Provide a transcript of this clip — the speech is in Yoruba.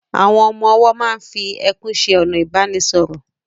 Àwọn ọmọ-ọwọ́ máa n fi ẹkún ṣe ọ̀nà ìbánisọ̀rọ̀